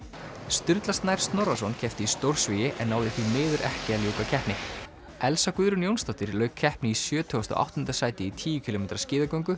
sturla Snær Snorrason keppti í stórsvigi en náði því miður ekki að ljúka keppni Elsa Guðrún Jónsdóttir lauk keppni í sjötugasta og áttunda sæti í tíu kílómetra skíðagöngu